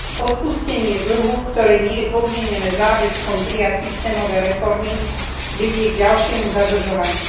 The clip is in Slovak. Odpustenie dlhu, ktoré nie je podmienené záväzkom prijať systémové reformy, vedie k ďalšiemu zadlžovaniu.